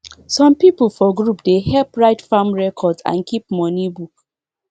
some people for group dey help write farm record and keep money book